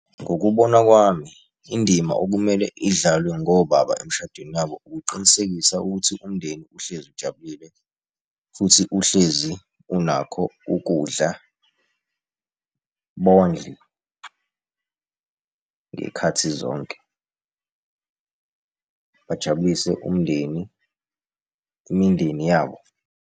Ngokubona kwami indima okumele idlalwe ngobaba emishadweni wabo, ukuqinisekisa ukuthi umndeni uhlezi ujabulile futhi uhlezi unakho ukudla, bondle ngey'khathi zonke, bajabulise umndeni, imindeni yabo.